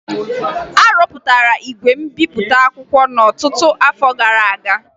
A rụpụtara igwe mbipụta akwụkwọ n'ọtụtụ afọ gara aga